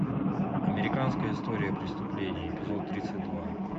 американская история преступлений эпизод тридцать два